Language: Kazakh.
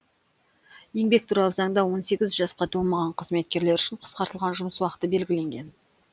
еңбек туралы заңда он сегіз жасқа толмаған қызметкерлер үшін қысқартылған жұмыс уақыты белгіленген